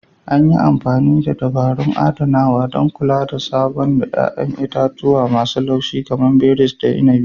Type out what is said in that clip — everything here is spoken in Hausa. An yi amfani da dabarun adanawa, don kula da sabo na 'ya'yan itatuwa masu laushi kamar berries da inabi.